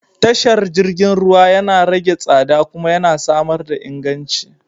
Tashar jirgin ruwa yana rage tsada kuma yana samar da inganci.